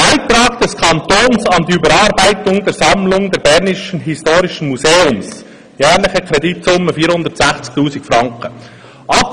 Beitrag des Kantons an die Überarbeitung der Sammlung des Bernischen Historischen Museums, jährliche Kreditsumme 460 000 Franken;